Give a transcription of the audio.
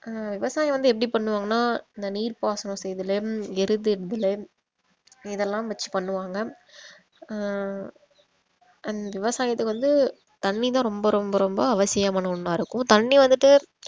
அஹ் விவசாயம் வந்து எப்படி பண்ணுவாங்கனா அந்த நீர் பாசனம் செய்தலும் எருதுல விடுதலும் இதெல்லாம் வெச்சி பண்ணுவாங்க அஹ் அந்~ விவசாயத்தை வந்து தண்ணி தான் ரொம்ப ரொம்ப ரொம்ப அவசியமான ஒண்ணா இருக்கும் தண்ணி வந்துட்டு